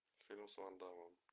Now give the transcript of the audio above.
фильм с ван даммом